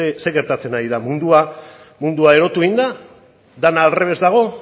zer gertatzen ari da mundua erotu egin da dena aldrebes dago